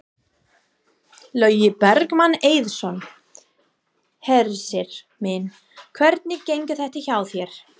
Logi Bergmann Eiðsson: Hersir minn, hvernig gengur þetta hjá þér?